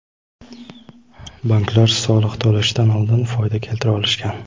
banklar soliq to‘lashdan oldin foyda keltira olishgan.